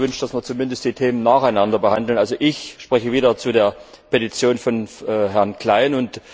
Ich hätte mir gewünscht, dass wir zumindest die Themen nacheinander behandeln. Also ich spreche wieder zu der Petition von Herrn Klein.